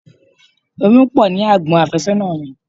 Irun pọ ní àgbon afésónà mi.